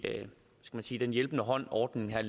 den hjælpende hånd ordningen her